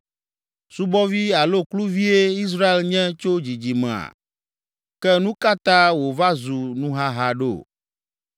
Subɔvi alo kluvie Israel nye tso dzidzimea? Ke nu ka ta wòva zu nuhaha ɖo?